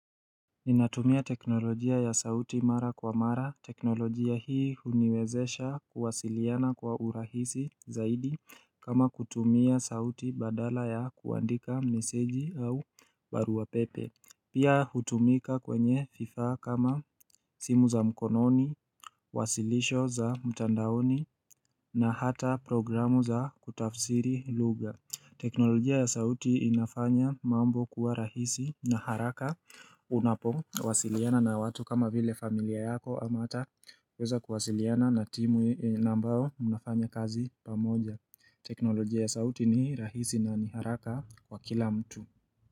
Ninatumia teknolojia ya sauti mara kwa mara. Teknolojia hii huniwezesha kuwasiliana kwa urahisi zaidi kama kutumia sauti badala ya kuandika meseji au barua pepe. Pia hutumika kwenye vifaa kama simu za mkononi, wasilisho za mtandaoni na hata programu za kutafsiri lugha. Teknolojia ya sauti inafanya mambo kuwa rahisi na haraka unapowasiliana na watu kama vile familia yako ama ata kuweza kuwasiliana na timu na ambayo unafanya kazi pamoja teknolojia ya sauti ni rahisi na ni haraka kwa kila mtu.